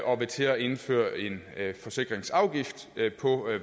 og vil til at indføre en forsikringsafgift på